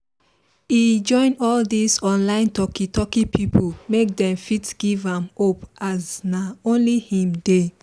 he join all this online talki talki people make them fit give am hope as nah only him dey